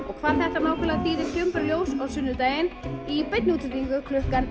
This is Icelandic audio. og hvað þetta nákvæmlega þýðir kemur bara í ljós á sunnudaginn í beinni útsendingu klukkan